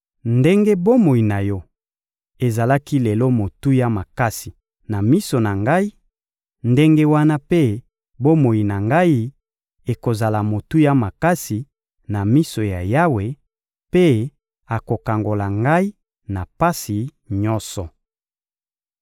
Ndenge bomoi na yo ezalaki lelo motuya makasi na miso na ngai, ndenge wana mpe bomoi na ngai ekozala motuya makasi na miso ya Yawe, mpe akokangola ngai na pasi nyonso.